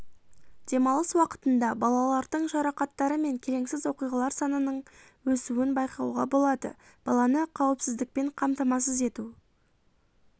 демалыс уақытында балалардың жарақаттары мен келеңсіз оқиғалар санының өсуін байқауға болады баланы қауіпсіздікпен қамтамасыз ету